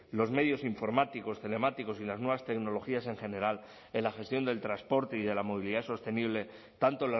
los medios informáticos telemáticos y las nuevas tecnologías en general en la gestión del transporte y de la movilidad sostenible tanto